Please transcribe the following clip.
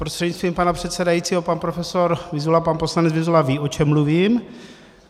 Prostřednictvím pana předsedajícího pan profesor Vyzula, pan poslanec Vyzula ví, o čem mluvím.